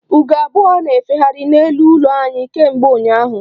Ugo abụọ na-efegharị n'elu ụlọ anyị kemgbe ụnyaahụ.